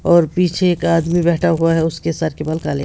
और पीछे एक आदमी बैठा हुआ है उसके सर के बाल काले--